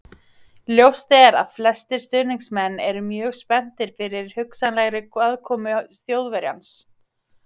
Ljóst er að flestir stuðningsmenn eru mjög spenntir yfir hugsanlegri komu Þjóðverjans.